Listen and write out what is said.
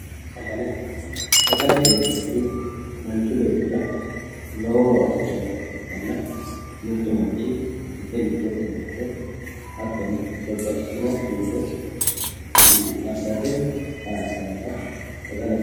Sagale sagalete yinanniti manchi beettira lowo horo afidhinota ikkitanna mittu manchi ite lubbote heerate hattono babbaxxitino shiilo afirate horonsirannota sagalete yinanni